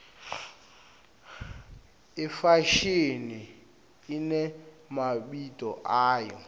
ifashini inemabito ayo